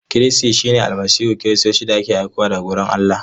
Kristi shine Almasihun Kiristoci da aka aiko daga wurin Allah.